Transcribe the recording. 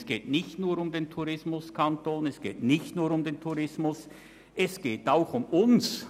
Es geht nicht nur um den Tourismuskanton und nicht nur um den Tourismus, es geht auch um uns!